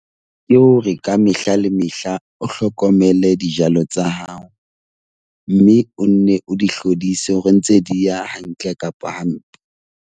Ke hore ka mehla le mehla o hlokomele dijalo tsa hao mme o nne o di hlodise hore ntse di ya hantle kapa hampe.